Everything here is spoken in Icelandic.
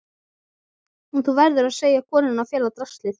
Og þú verður að segja konunni að fela draslið.